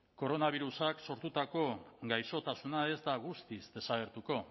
koronabirusak sortutako gaixotasuna ez da guztiz desagertuko